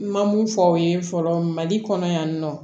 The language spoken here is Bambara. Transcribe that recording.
N ma mun fɔ aw ye fɔlɔ mali kɔnɔ yan nɔ